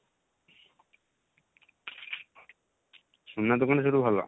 ସୁନା ଦୋକାନ ସବୁଠୁ ଭଲ